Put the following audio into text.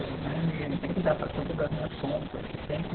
Eu né, tem que dar para todas as minhas contas, que tem que